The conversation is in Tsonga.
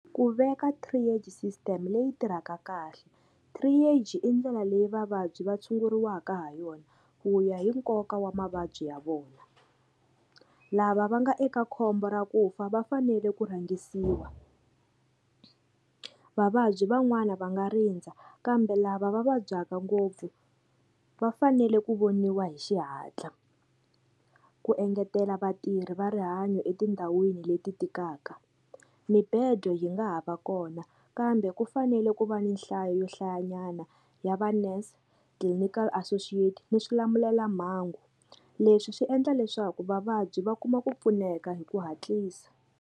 Ku veka triage system leyi tirhaka kahle triage i ndlela leyi vavabyi va tshunguriwaka ha yona ku ya hi nkoka wa mavabyi ya vona lava va nga eka khombo ra ku fa va fanele ku rhangisiwa vavabyi van'wani va nga rindza kambe lava va vabyaka ngopfu va fanele ku voniwa hi xihatla ku engetela vatirhi va rihanyo etindhawini leti tikaka mibedo yi nga ha va kona kambe ku fanele ku va ni nhlayo yo hlayanyana ya va-nurse clinical associate ni swilamulelamhangu leswi swi endla leswaku vavabyi va kuma ku pfuneka hi ku hatlisa.